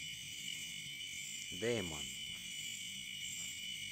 деймон